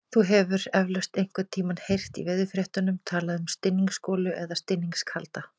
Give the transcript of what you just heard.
Þú hefur eflaust einhvern tímann heyrt í veðurfréttum talað um stinningsgolu eða stinningskalda.